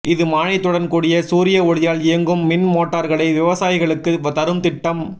இது மானியத்துடன் கூடிய சூரிய ஒளியால் இயங்கும் மின் மோட்டார்களை விவசாயிகளுக்குத் தரும் திட்டம்